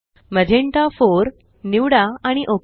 magenta 4 निवडा आणि okay